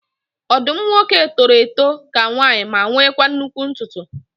Ọdụm nwoke toro eto ka nwanyị ma nwekwa nnụkwụ ntutu